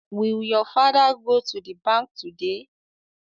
Will your father go to the bank today?